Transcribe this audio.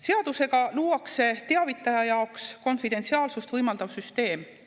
Seadusega luuakse teavitaja jaoks konfidentsiaalsust võimaldav süsteem.